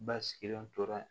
Ba sigilen tora